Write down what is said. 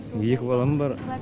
екі балам бар